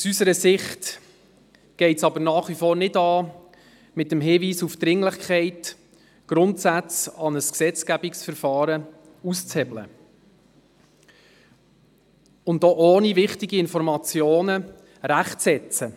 Aus unserer Sicht ist es jedoch nach wie vor nicht sinnvoll, mit dem Hinweis auf die Dringlichkeit Grundsätze an ein Gesetzgebungsverfahren auszuhebeln und ohne wichtige Informationen eine Rechtsetzung vorzunehmen.